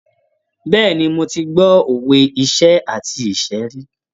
Bẹ́ẹ̀ni, mo ti gbọ́ òwe iṣẹ́ àti ìṣẹ́ rí.